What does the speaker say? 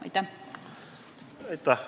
Aitäh!